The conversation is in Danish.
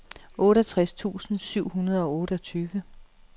otteogtres tusind syv hundrede og otteogtyve